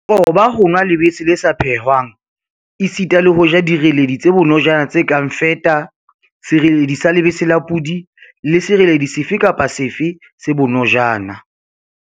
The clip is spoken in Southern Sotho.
Qoba ho nwa lebese le sa phehwang esita le ho ja direledi tse bonojana tse kang feta, sereledi sa lebese la podi le sereledi sefe kapa sefe se bonojana5.